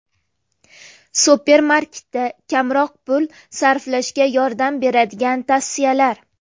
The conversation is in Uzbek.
Supermarketda kamroq pul sarflashga yordam beradigan tavsiyalar.